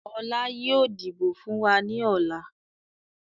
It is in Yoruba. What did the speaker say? Ọlá yìí ó dìbò fun wá ní ọ̀la.